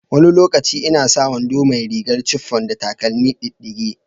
Wani lokaci ina sa wando mai rigar chiffon da takalmi diddige.